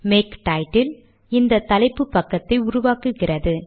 make title இந்த தலைப்பு பக்கத்தை உருவாக்குகிறது